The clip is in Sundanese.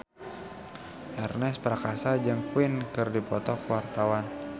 Ernest Prakasa jeung Queen keur dipoto ku wartawan